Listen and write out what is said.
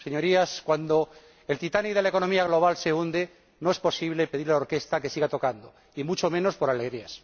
Señorías, cuando el Titanic de la economía mundial se hunde, no es posible pedirle a la orquesta que siga tocando, y mucho menos por alegrías.